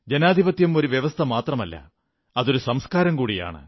ജനാധിപത്യം ഒരു വ്യവസ്ഥ മാത്രമല്ല അതൊരു സംസ്കാരം കൂടിയാണ്